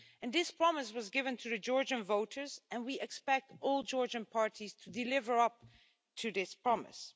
This promise was given to the Georgian voters and we expect all Georgian parties to deliver on this promise.